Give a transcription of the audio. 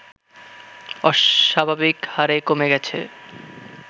অস্বাভাবিকহারে কমে গেছে